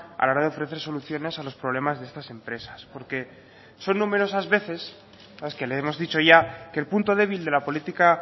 a la hora de ofrecer soluciones a los problemas de estas empresas porque son numerosas veces las que le hemos dicho ya que el punto débil de la política